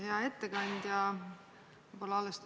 Hea ettekandja!